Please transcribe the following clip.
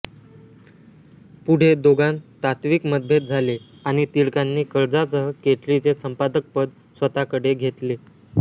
पुढे दोघांत तात्त्विक मतभेद झाले आणि टिळकांनी कर्जासह केसरी चे संपादकपद स्वतःकडे घेतले